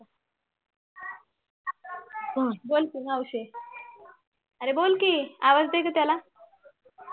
आह बोल कि मावशी अरे बोल कि आवाज दे गं त्याला